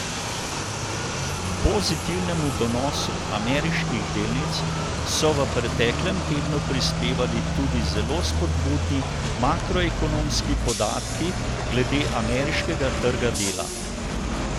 K pozitivnemu donosu ameriških delnic so v preteklem tednu prispevali tudi zelo spodbudni makroekonomski podatki glede ameriškega trga dela.